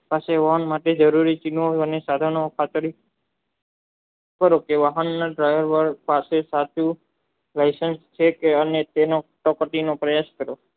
પાસે અને સાધનોની ખાતરી કરો કે હમિલન પ્રયોગવાનું સાચે સાચું વાઈસન છે કે અને તેને તાપ્તીનો પ્રયાસ કરો